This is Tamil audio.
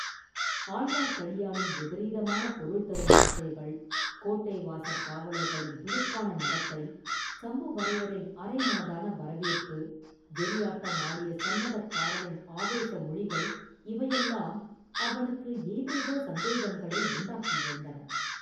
ஆழ்வார்க்கடியானின் விபரீதமான பொருள் தரும் வார்த்தைகள், கோட்டை வாசற் காவலர்களின் துடுக்கான நடத்தை, சம்புவரையரின் அரைமனதான வரவேற்பு, வெறியாட்டம் ஆடிய சந்நதக்காரனின் ஆவேச மொழிகள் இவையெல்லாம் அவனுக்கு ஏதேதோ சந்தேகங்களை உண்டாக்கியிருந்தன.